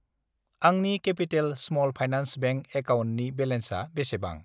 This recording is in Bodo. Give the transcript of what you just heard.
आंनि केपिटेल स्मल फाइनान्स बेंक एकाउन्टनि बेलेन्सा बेसेबां?